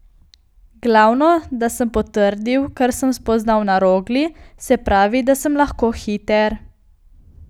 Glavno, da sem potrdil, kar sem spoznal na Rogli, se pravi, da sem lahko hiter.